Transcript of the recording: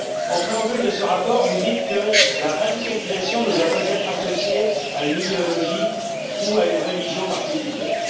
En préambule de ce rapport, vous dites que la radicalisation ne doit pas être associée à une idéologie ou à une religion particulières.